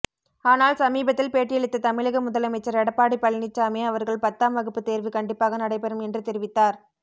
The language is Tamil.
ஆனால் சமீபத்தில் பேட்டியளித்த தமிழக முதலமைச்சர் எடப்பாடி பழனிச்சாமி அவர்கள் பத்தாம் வகுப்பு தேர்வு கண்டிப்பாக நடைபெறும் என்று தெரிவித்தார்